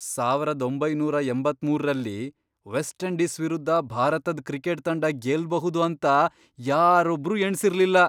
ಸಾವರದ್ ಒಂಬೈನೂರ ಎಂಬತ್ಮೂರರಲ್ಲಿ, ವೆಸ್ಟ್ ಇಂಡೀಸ್ ವಿರುದ್ಧ ಭಾರತದ್ ಕ್ರಿಕೆಟ್ ತಂಡ ಗೆಲ್ಬಹುದು ಅಂತ ಯಾರೊಬ್ರೂ ಎಣ್ಸಿರ್ಲಿಲ್ಲ!